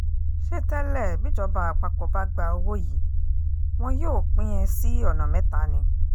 ṣé tẹ́lẹ̀ bíjọba àpapọ̀ bá gba owó yìí wọn yóò pín in sí ọ̀nà mẹ́ta ni